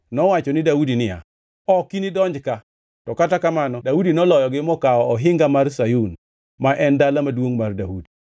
nowacho ni Daudi niya, “Ok inidonj ka.” To kata kamano Daudi noloyogi mokawo ohinga mar Sayun, ma en Dala Maduongʼ mar Daudi.